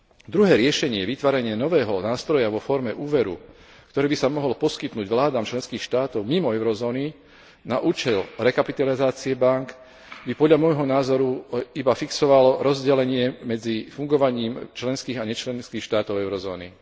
Druhé riešenie vytvárania nového nástroja vo forme úveru, ktorý by sa mohol poskytnúť vládam členských štátov mimo eurozóny na účel rekapitalizácie bánk, by podľa môjho názoru iba fixoval rozdelenie medzi fungovaním členských a nečlenských štátov eurozóny.